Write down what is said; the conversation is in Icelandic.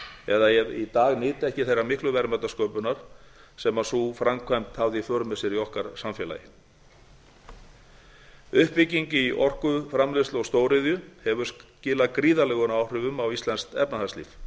eða ef í dag nyti ekki þeirrar miklu verðmætasköpunar sem sú framkvæmd hafði í för með sér í okkar samfélagi sautján þrjátíu til sautján fimmtíu og ein þrjátíu uppbygging í orkuframleiðslu og stóriðju hefur skilað gríðarlegum áhrifum á íslenskt efnahagslíf